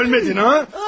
Demək ölmədin ha?